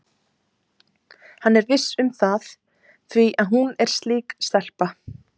Hann er viss um það því að hún er slík stelpa.